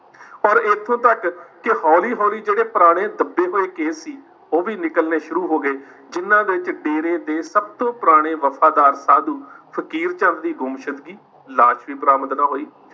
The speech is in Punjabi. ਔਰ ਇੱਥੋਂ ਤੱਕ ਕਿ ਹੌਲੀ ਹੌਲੀ ਜਿਹੜੇ ਪੁਰਾਣੇ ਦੱਬੇ ਹੋਏ ਕੇਸ ਸੀ ਉਹ ਵੀ ਨਿਕਲਣੇ ਸ਼ੁਰੂ ਹੋ ਗਏ ਜਿਹਨਾਂ ਵਿੱਚ ਡੇਰੇ ਦੇ ਸਭ ਤੋਂ ਪੁਰਾਣੇ ਵਫ਼ਾਦਾਰ ਸਾਧੂ ਫ਼ਕੀਰ ਚੰਦ ਦੀ ਗੁੰਮਸ਼ੂਦਗੀ ਲਾਸ਼ ਵੀ ਬਰਾਮਦ ਨਾ ਹੋਈ।